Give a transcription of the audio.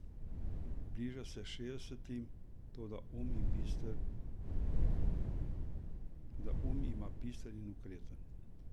Bliža se šestdesetim, toda um ima bister in okreten.